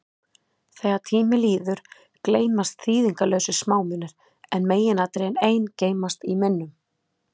Þegar tími líður, gleymast þýðingarlausir smámunir, en meginatriðin ein geymast í minnum.